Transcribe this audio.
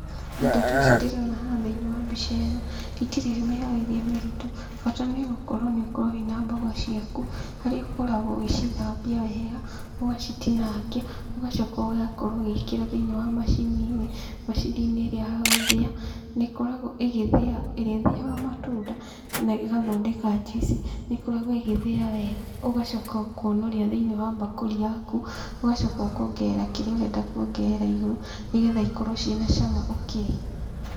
Indo ta ici ndĩrona haha thĩinĩ wa mbica ĩno, itirĩ mĩharĩrie mĩritũ, bata no gũkorwo nĩ ũkorwo wĩna mboga ciaku, harĩa ũkoragwo ũgĩcithambia wega, ũgacitinangia, ũgacoka ũgakorwo ũgĩikĩra thĩinĩ wa macini-inĩ, macini-inĩ ĩrĩa ya gũthĩa, nĩ ĩkoragwo ĩgĩthĩa, ĩrĩa ĩthĩaga matunda, na ĩgathondeka njuici, nĩ ĩkoragwo ĩgĩthĩa wega ũgacoka ũkonoria thĩinĩ wa mbakũri yaku, ũgacoka ũkongerera kĩrĩa ũrenda kuongerera igũrũ, nĩgetha ikorwo ciĩna cama ũkĩrĩa.